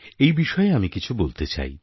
এই বিষয়ে আমি কিছু বলতে চাই